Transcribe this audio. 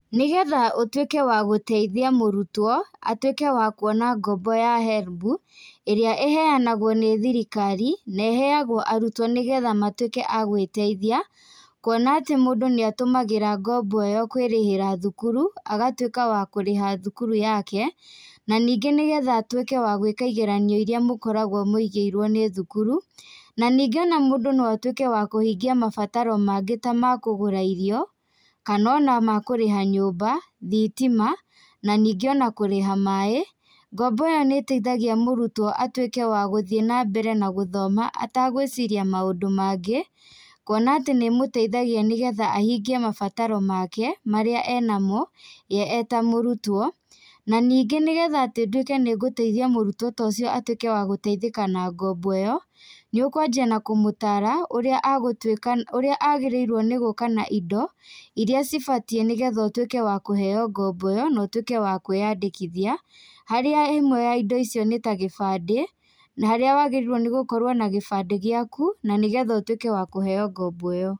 Nĩgetha ũtũĩke wa gũteithia mũrutwo, atuĩke wa kuona ngombo ya Helb, ĩrĩa ĩheyanagwo nĩ thirikari, na ĩheyagwo arutwo nĩgetha matuĩke a gũĩteithia, kuona atĩ mũndũ nĩ atũmagĩra ngombo ĩyo kwĩrĩhĩra thukuru, agatuĩka wakũrĩha thukuru yake. Na nĩngĩ nĩgetha atuĩke wa gũĩka igeranio iria mũkoragwo mũigĩirwo nĩ thukuru. Na nĩngĩ o na mũndũ no atuĩke wa kũhingia mabataro mangĩ ta makũgũra irio kana ona makũrĩha nyũmba, thitima na ningĩ o na kũrĩha maaĩ. Ngombo ĩyo nĩ ĩteithagia mũrutwo atuĩke wa gũthiĩ na mbere na gũthoma atagũiciria maũndũ mangĩ, kuona atĩ nĩ ĩmũteithagia kũhingia mabataro make marĩa enamo we eta mũrutwo. Na ningĩ nĩgetha atĩ nduĩke nĩngũteithia mũrutwo tocio atuĩke wa gũteithĩka na ngombo ĩyo, nĩ ũkwanjia na kũmũtara ũrĩa agũtuika ũrĩa agĩrĩirwo nĩ gũka na indo irĩa cibatiĩ nĩgetha ũtuĩke wa kũheyo ngombo ĩ yo notuĩke wa kũĩyandĩkithia, harĩa ĩmwe ya indo icio nĩ ta gĩbandĩ. Na harĩa wagĩrĩirwo nĩ gũkorwo na gĩbandĩ gĩaku, na nĩgetha ũtuĩke wa kũheyo ngombo ĩyo.